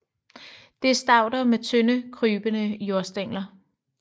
Det er stauder med tynde krybende jordstængler